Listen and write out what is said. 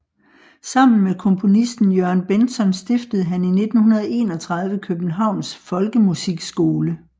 Sammen med komponisten Jørgen Bentzon stiftede han i 1931 Københavns Folkemusikskole